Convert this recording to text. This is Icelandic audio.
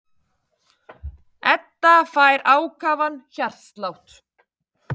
Edda fær ákafan hjartslátt.